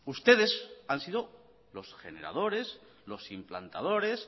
ustedes han sido los generadores los implantadores